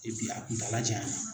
a kuntaala janya la.